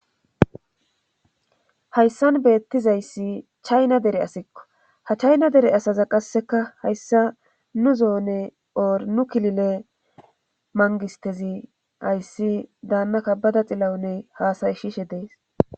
hayssan beettizayssi chayna dere asikko ha chayna dere asaza qasseka hayssa nu zoone ornu kilile mangistezi ayssi daannaka bada xilawunne haasayshishe dees